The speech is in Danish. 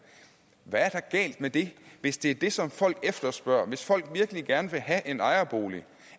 hvad er der galt med det hvis det er det som folk efterspørger hvis folk virkelig gerne vil have en ejerbolig